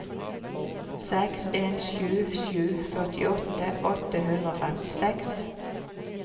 seks en sju sju førtiåtte åtte hundre og femtiseks